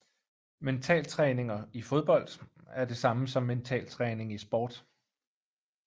Mentaltræning i fodbold er det samme som mentaltræning i esport